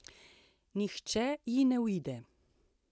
Nihče ji ne uide.